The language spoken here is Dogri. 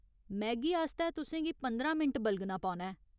मैगी आस्तै तुसें गी पंदरां मिंट बलगना पौना ऐ।